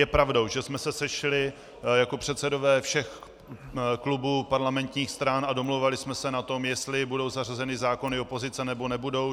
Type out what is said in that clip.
Je pravdou, že jsme se sešli jako předsedové všech klubů parlamentních stran a domlouvali jsme se na tom, jestli budou zařazeny zákony opozice, nebo nebudou.